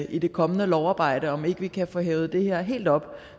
i det kommende lovarbejde altså om ikke vi kan få hævet det her helt op